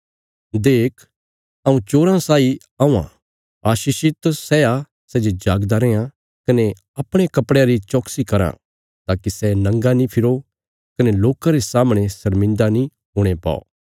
देख हऊँ चोरा साई औआं आशीषित सै आ सै जे जागदा रैयां कने अपणे कपड़यां री चौकसी कराँ ताकि सै नंगा नीं फिरो कने लोकां रे सामणे शर्मिन्दा नीं हुणे पौ